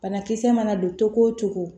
Banakisɛ mana don cogo o cogo